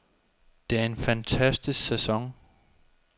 Det er en fantastisk sæson.